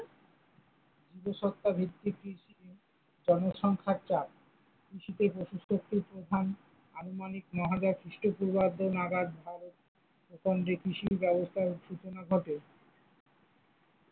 জীবিকাসত্তা ভিত্তিক কৃষি, জনসংখ্যার চাপ, কৃষিতে আনুমানিক নয় হাজার খ্রিস্টপূর্বাব্দ নাগাদ ভারতে প্রথম যে কৃষির ব্যবস্থার সূচনা ঘটে।